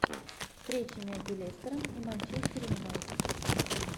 встречи между лестером и манчестер юнайтед